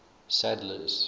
sadler's